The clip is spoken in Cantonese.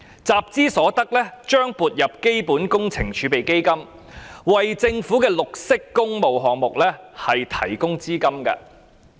集資所得將撥入基本工程儲備基金，為政府的綠色工務項目提供資金。